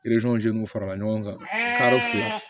n'u farala ɲɔgɔn kan kari fila